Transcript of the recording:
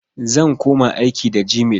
Zan koma aiki da gmail.